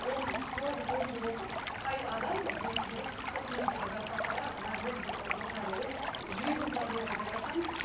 он тоғыз он жыл оқып қай адам есі дұрыс қырық мың зарплатаға мәз болып отырады ол жүйелі программа деп айтамыз